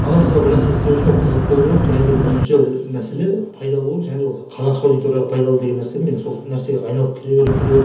маған мысалы бір нәрсе істеу үшін ол қызық болу керек және де бірінші мәселе пайда болу және ол қазақша аудиторияға пайдалы деген нәрсені мен сол нәрсеге айналып келе бердім келе бердім